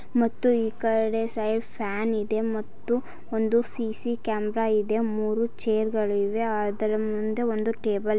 ಮತ್ತು ಈ ಕಡೆ ಸೈಡ್ ಫ್ಯಾನ್ ಇದೆ ಮತ್ತು ಒಂದು ಸಿ.ಸಿ. ಕ್ಯಾಮೆರಾ ಇದೆ. ಮೂರೂ ಚೇರ್ಗಳು ಇವೆ ಅದರ ಮುಂದೆ ಒಂದು ಟೇಬಲ್ --